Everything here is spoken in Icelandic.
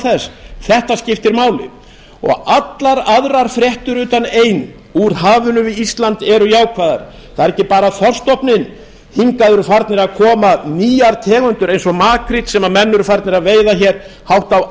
þess þetta skiptir máli og allar aðrar fréttir utan ein úr hafinu við ísland eru jákvæðar það er ekki bara þorskstofninn hingað eru farnar að koma nýjar tegundir eins og makríll sem menn eru farnir að veiða hér hátt á